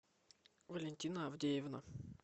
валентина авдеевна